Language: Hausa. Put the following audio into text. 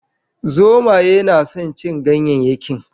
Zomaye na son cin ganyayyakin